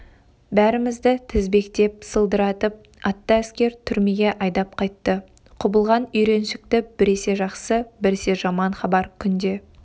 бәрімізді тізбектеп сылдыратып атты әскер түрмеге айдап қайтты құбылған үйреншікті біресе жақсы біресе жаман хабар күнде